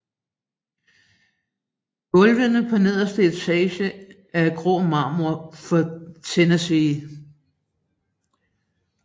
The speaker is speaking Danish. Gulvene på nederste etage er af grå marmor fra Tennessee